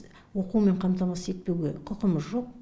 оқумен қамтамасыз етпеуге құқымыз жоқ